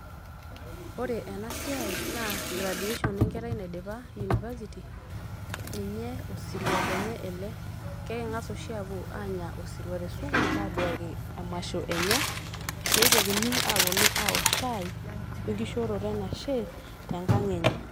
Ore ena siai naa graduation enkerai naidipa university ninye osirua lenye ele keking'as oshi aapuo aanya osirua te sukuul aduaki emasho enye neitokini aaponu awok shai enkishooroto enashe tenkang enye.